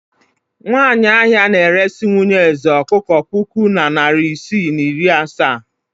Nwanyị ahịa na-eresi nwunye eze ọkụkọ puku na narị isii na iri asaa.